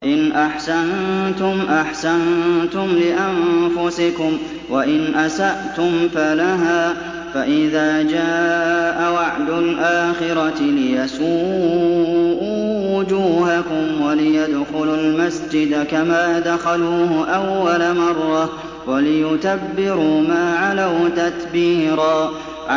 إِنْ أَحْسَنتُمْ أَحْسَنتُمْ لِأَنفُسِكُمْ ۖ وَإِنْ أَسَأْتُمْ فَلَهَا ۚ فَإِذَا جَاءَ وَعْدُ الْآخِرَةِ لِيَسُوءُوا وُجُوهَكُمْ وَلِيَدْخُلُوا الْمَسْجِدَ كَمَا دَخَلُوهُ أَوَّلَ مَرَّةٍ وَلِيُتَبِّرُوا مَا عَلَوْا تَتْبِيرًا